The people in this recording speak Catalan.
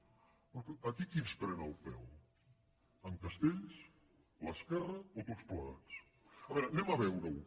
escolti’m aquí qui ens pren el pèl en castells l’esquerra o tots plegats a veure anem a veure ho